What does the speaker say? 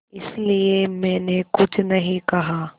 इसलिए मैंने कुछ नहीं कहा